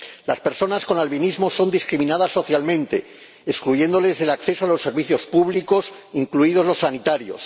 Las personas con albinismo son discriminadas socialmente, excluyéndolas del acceso a los servicios públicos, incluidos los sanitarios.